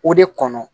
O de kɔnɔ